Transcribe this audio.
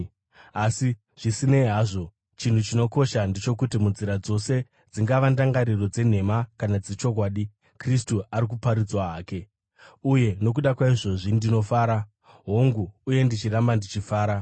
Asi zvisinei hazvo, chinhu chinokosha ndechokuti munzira dzose, dzingava ndangariro dzenhema kana dzechokwadi, Kristu ari kuparidzwa hake. Uye nokuda kwaizvozvi ndinofara. Hongu, uye ndicharamba ndichifara,